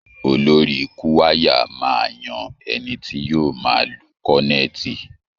Olórí Kúwàyà máa yan ẹni tí yóò máa lu kọ́nẹ́ẹ̀tì